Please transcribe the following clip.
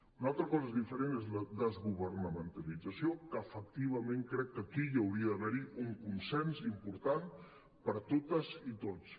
una altra cosa diferent és la desgover·namentalització que efectivament crec que aquí hi hauria d’haver un consens im·portant per totes i tots